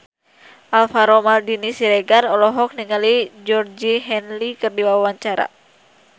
Alvaro Maldini Siregar olohok ningali Georgie Henley keur diwawancara